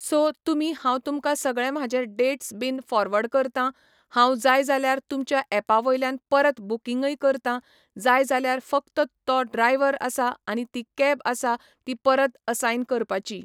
So तुमी हांव तुमकां सगळें म्हाजे डेट्स बिन फॉरवर्ड करतां हांव जाय जाल्यार तुमच्या एपा वयल्यान परत बुकिंगय करतां जाय जाल्यार फक्त तो ड्रायव्हर आसा आनी ती कॅब आसा ती परत असायन करपाची.